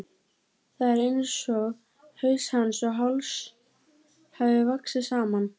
Það er einsog haus hans og háls hafi vaxið saman.